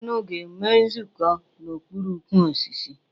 Unu ga-enwe nzukọ n'okpuru ukwu osisi?